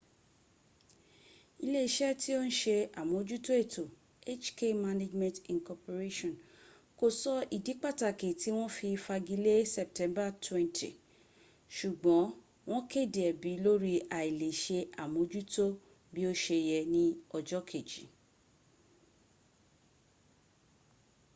ile ise ti o n se amojuto eto hk management inc ko so idi pataki ti won fi fagi le september 20 sugbon won kede ebi lori ailese amojuto bi o se ye ni ojo keji